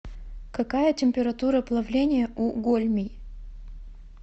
какая температура плавления у гольмий